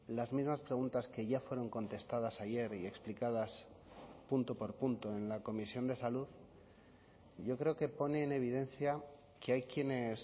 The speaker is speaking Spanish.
las mismas preguntas que ya fueron contestadas ayer y explicadas punto por punto en la comisión de salud yo creo que pone en evidencia que hay quienes